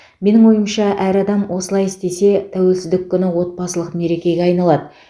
менің ойымша әр адам осылай істесе тәуелсіздік күні отбасылық мерекеге айналады